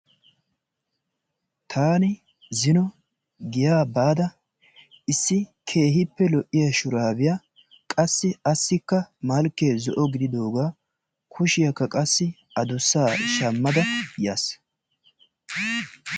Taani zino giyaa baada issi keehippe lo"iyaa shuraabiyaa qassi asikka malkee zo"o gididoogaa kushshiyaaka qassi adussaa shaammada yaas.